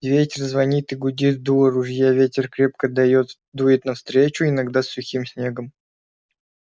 ветер звонит и гудит в дуло ружья ветер крепко даёт дует навстречу иногда сухим снегом